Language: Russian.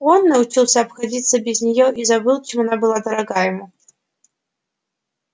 он научился обходиться без нее и забыл чем она была дорога ему